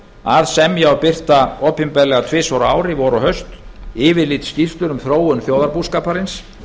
að semja og birta opinberlega tvisvar á ári vor og haust yfirlitsskýrslur um þróun þjóðarbúskaparins